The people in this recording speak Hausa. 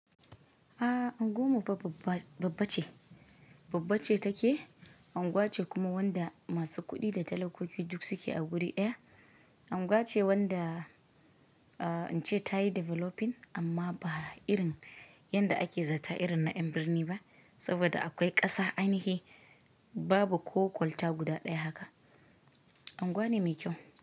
Aaa Angoma ba babbace, babbace take, anguwa ce kuma wanda masu kuɗi da talakoki duk suke a guri ɗaya. Anguwa ce wanda, aa ince ta yi developing amma ba irin yadda ake zata irin na ƴan birni ba, saboda akwai ƙasa an yi hi, babu ko kwalta guda ɗaya haka. Anguwa ne mai kyau.